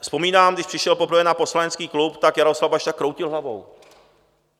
Vzpomínám, když přišel poprvé na poslanecký klub, tak Jaroslav Bašta kroutil hlavou.